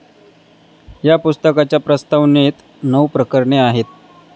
या पुस्तकाच्या प्रस्तावनेत नऊ प्रकरणे आहेत.